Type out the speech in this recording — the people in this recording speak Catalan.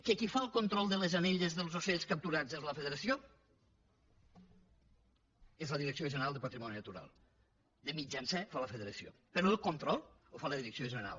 que qui fa el control de les anelles dels ocells capturats és la federació és la direcció general de patrimoni natural de mitjancer fa la federació però el control el fa la direcció general